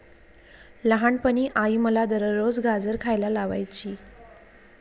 लहानपणी आई मला दररोज गाजर खायला लावायची.